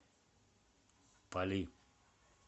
пали